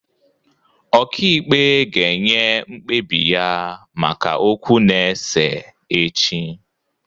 Ọka ikpe ga-enye mkpebiya maka okwu na-ese echi.